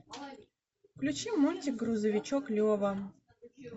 включи мультик грузовичок лева